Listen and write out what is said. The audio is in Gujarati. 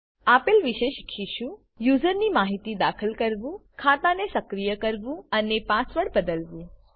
આપેલ વિશે શીખીશું યુઝરની માહિતી દાખલ કરવું ખાતાને સક્રિય કરવું અને પાસવર્ડ બદલવું